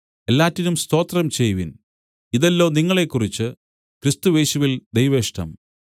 എല്ലാറ്റിനും സ്തോത്രം ചെയ്‌വിൻ ഇതല്ലോ നിങ്ങളെക്കുറിച്ച് ക്രിസ്തുയേശുവിൽ ദൈവേഷ്ടം